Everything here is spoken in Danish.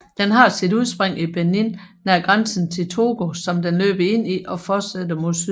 Den har sit udspring i Benin nær grænsen til Togo som den løber ind i og forsætter mod syd